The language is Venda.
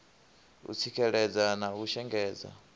u tsikeledza na u shengedza